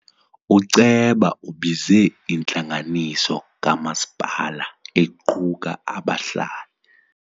Uceba ubize intlanganiso kamasipala equka abahlali.